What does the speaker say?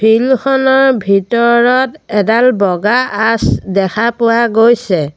Field খনৰ ভিতৰত এডাল বগা আঁচ দেখা পোৱা গৈছে।